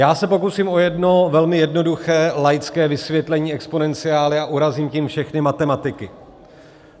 Já se pokusím o jedno velmi jednoduché laické vysvětlení exponenciály a urazím tím všechny matematiky.